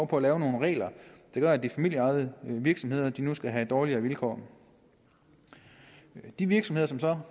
på at lave nogle regler der gør at de familieejede virksomheder nu skal have dårligere vilkår de virksomheder